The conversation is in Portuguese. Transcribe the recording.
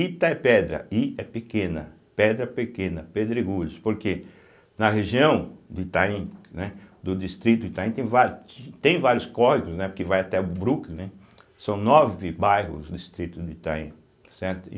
Ita é pedra, I é pequena, pedra pequena, pedregulhos, porque na região do Itaim, que né, do distrito Itaim, tem vári tem vários córregos, né porque vai até o Brooklin, né, são nove bairros o distrito do Itaim, certo? e